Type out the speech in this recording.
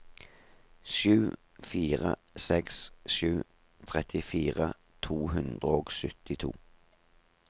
sju fire seks sju trettifire to hundre og syttito